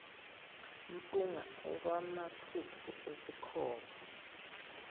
mpunga okwamaphuphu esikhova